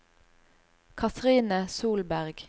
Cathrine Solberg